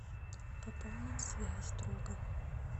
пополнить связь друга